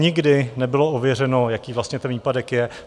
Nikdy nebylo ověřeno, jaký vlastně ten výpadek je.